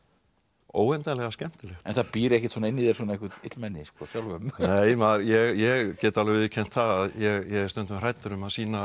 óendanlega skemmtilegt en það býr ekkert inni í þér svona illmenni sjálfum nei ég get alveg viðurkennt það að ég er stundum hræddur að sýna